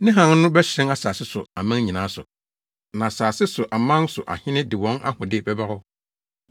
Ne hann no bɛhyerɛn asase so aman nyinaa so, na asase so aman so ahene de wɔn ahode bɛba hɔ.